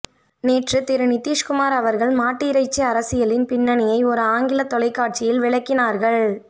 நேற்று திரு நிதீஷ் குமார் அவர்கள் மாட்டிறைச்சி அரசியலின் பின்னணியை ஒருஆங்கில தொலைகாட்சியில் விளக்கினார்கள்